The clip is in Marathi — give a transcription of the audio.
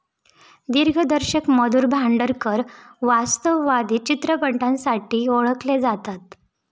दिग्दर्शक मधुर भांडारकर वास्तववादी चित्रपटांसाठी ओळखले जातात.